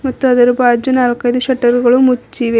ಮತ್ತು ಅದರ ಬಾಜು ನಾಲ್ಕೈದು ಶೆಟ್ಟರು ಗಳು ಮುಚ್ಚಿವೆ.